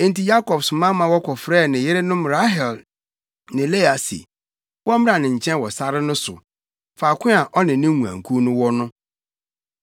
Enti Yakob soma ma wɔkɔfrɛɛ ne yerenom Rahel ne Lea se wɔmmra ne nkyɛn wɔ sare no so, faako a ɔne ne nguankuw no wɔ no.